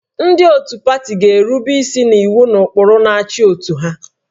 Ndị otu pati ga-erube isi n'iwu na ụkpụrụ na-achị otu ha